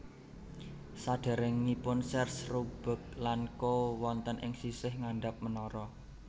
Saderengipun Sears Roebuck lan Co wonten ing sisih ngandhap menara